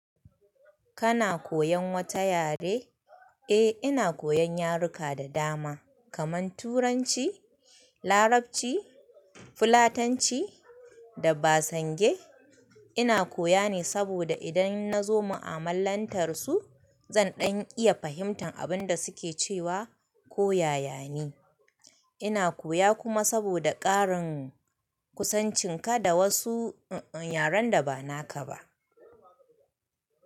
Kana koyan wata yare? Eh ina koyan yaruka da dama kaman turanci, larabci, fulatanci da basange. Ina koya ne saboda idan na zo ma'amalantar su zan ɗan iya fahimtar abinda suke cewa ko yayane. Ina koya kuma saboda karin kusancin kada wasu yaren da ba naka ba.